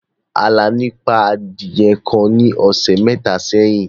Àlàní pa adiye kan ní ọsẹ̀ métà séyìn.